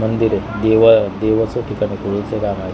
मंदिर आहे देवा देवाच ठिकाण देवीचा दार आहे.